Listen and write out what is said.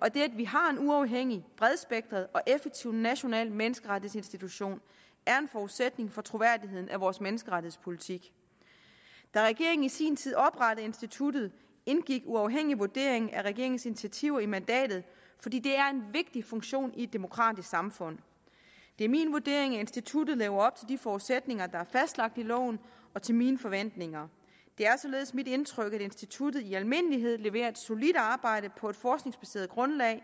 og det at vi har en uafhængig bredspektret og effektiv national menneskerettighedsinstitution er en forudsætning for troværdigheden af vores menneskerettighedspolitik da regeringen i sin tid oprettede instituttet indgik en uafhængig vurdering af regeringens initiativer i mandatet fordi det er en vigtig funktion i et demokratisk samfund det er min vurdering at instituttet lever op til de forudsætninger der er fastlagt i loven og til mine forventninger det er således mit indtryk at instituttet i almindelighed leverer et solidt arbejde på et forskningsbaseret grundlag